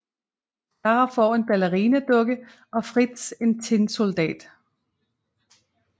Clara får en ballerinadukke og Fritz en tinsoldat